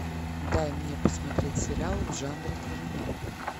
дай мне посмотреть сериал в жанре криминал